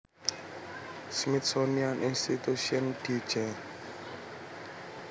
Smithsonian Institution dieja